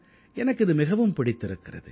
எனக்கு இது மிகவும் பிடித்திருக்கிறது